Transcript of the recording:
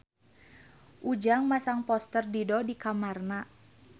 Ujang masang poster Dido di kamarna